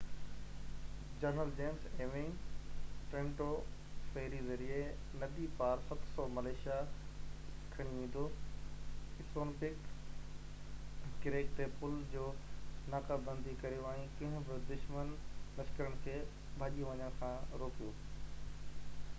general James Ewing Trenton ferry ذريعي ندي پار 700 مليسشيا کڻي ويندو اسونپنڪ ڪريڪ تي پُل جي ناڪابندي ڪريو ۽ ڪنهن به دشمن لشڪرن کي ڀڄي وڃڻ کان روڪيو